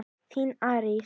Þín Arís.